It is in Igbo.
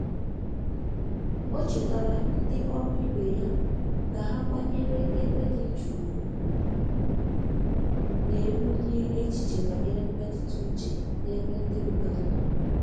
O chetara ndi ọrụ ibe ya ka ha kwanyere ebe di jụụ ugwu, na ebulie echiche banyere mmetụta uche n'ebe ndi mmadụ nọ.